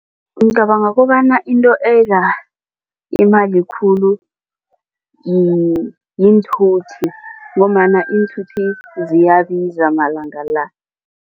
Ngicabanga kobana into edla imali khulu yiinthuthi ngombana iinthuthi ziyabiza malanga la.